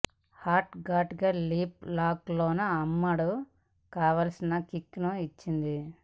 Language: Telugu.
హాట్ గాట్ లిప్ లాక్ లతో అమ్మడు కావాల్సిన కిక్ ను ఇచ్చింది